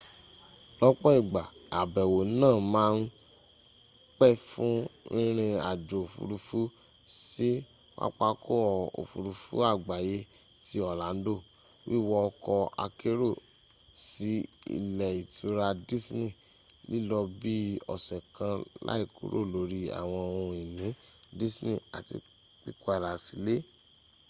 lọ́pọ̀ igba àbẹ̀wò náà màa ń pẹ fún rìnrìn-àjò òfuurufú sí pápákọ̀ òfuurufú àgbáyé ti orlando wíwọ ọkọ̀ akérò sí ilé ìtura disney lílọ bi ọ́sẹ́ kan láìkúrò lórí ́àwọǹ ohun-ìní disney àti pípadà sílẹ́